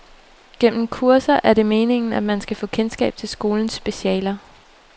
Gennem kurser er det meningen, at man skal få kendskab til skolens specialer.